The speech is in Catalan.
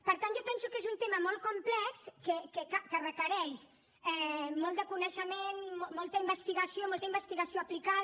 per tant jo penso que és un tema molt complex que requereix molt de coneixement molta investigació molta investigació aplicada